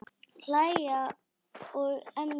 Hlæja og emja.